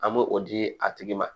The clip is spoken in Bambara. An bɛ o di a tigi ma